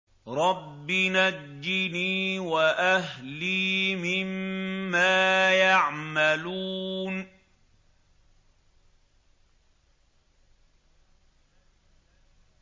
رَبِّ نَجِّنِي وَأَهْلِي مِمَّا يَعْمَلُونَ